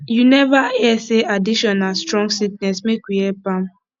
you neva hear sey addiction na strong sickness make we help am